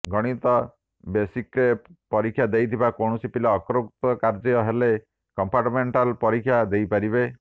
ଗଣିତ ବେସିକ୍ରେ ପରୀକ୍ଷା ଦେଇଥିବା କୌଣସି ପିଲା ଅକୃତକାର୍ଯ୍ୟ ହେଲେ କମ୍ପାର୍ଟମେଣ୍ଟାଲ ପରୀକ୍ଷା ଦେଇପାରିବେ